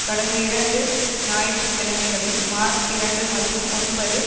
கடந்த இரண்டு ஞாயிற்று கிழமைகளில் மார்ச் இரண்டு மற்றும் ஒன்பது